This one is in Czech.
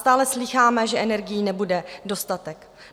Stále slýcháme, že energií nebude dostatek.